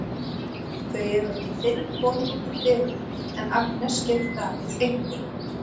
Þau eru ekki fyrr komin út úr dyrunum en Agnes gefur Davíð einkunn.